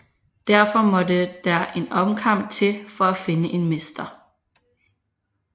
Derfor måtte der en omkamp til for at finde en mester